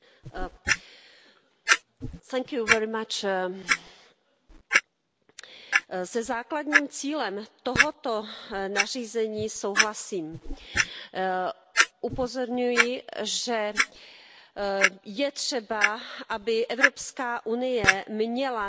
Paní předsedající, se základním cílem tohoto nařízení souhlasím. Upozorňuji, že je třeba, aby Evropská unie měla nástroj, pomocí kterého